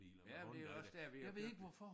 Ja men det også dér vi har købt den